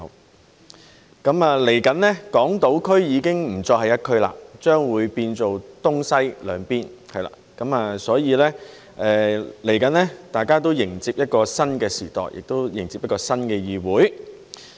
不久將來，港島區不再是一區，變成東西兩邊，所以大家即將迎接一個新的時代，亦迎接一個新的議會。